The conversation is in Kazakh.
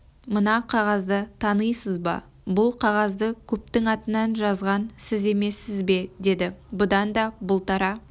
мына қағазды танисыз ба бұл қағазды көптің атынан жазған сіз емессіз бе деді бұдан да бұлтара